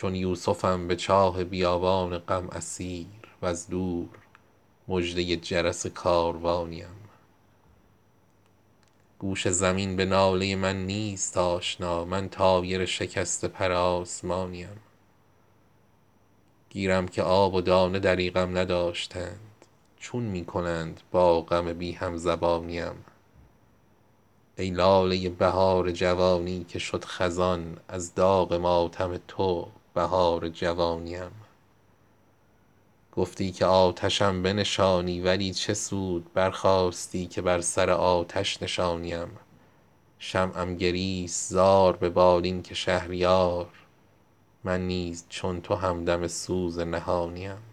چون یوسفم به چاه بیابان غم اسیر وز دور مژده جرس کاروانی ام یک شب کمند گیسوی ابریشمین بتاب ای ماه اگر ز چاه به در می کشانی ام گوش زمین به ناله من نیست آشنا من طایر شکسته پر آسمانی ام گیرم که آب و دانه دریغم نداشتند چون می کنند با غم بی هم زبانی ام ای لاله بهار جوانی که شد خزان از داغ ماتم تو بهار جوانی ام گفتی که آتشم بنشانی ولی چه سود برخاستی که بر سر آتش نشانی ام در خواب زنده ام که تو می خوانی ام به خویش بیداری ام مباد که دیگر نرانی ام شمعم گریست زار به بالین که شهریار من نیز چون تو همدم سوز نهانی ام